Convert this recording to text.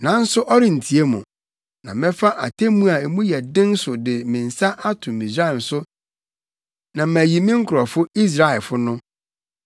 nanso ɔrentie mo. Na mɛfa atemmu a mu yɛ den so de me nsa ato Misraim so na mayi me nkurɔfo Israelfo no.